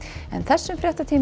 en þessum fréttatíma er